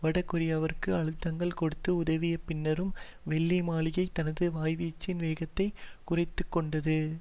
வடகொரியாவிற்கு அழுத்தங்கள் கொடுத்து உதவிய பின்னரும் வெள்ளை மாளிகை தனது வாய்வீச்சின் வேகத்தை குறைத்துக்கொண்டது